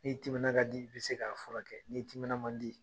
Ni timinan ka di, i bi se ka furakɛ ,ni timinan man di